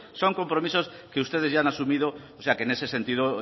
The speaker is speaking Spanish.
son compromisos que ustedes ya han asumido en ese sentido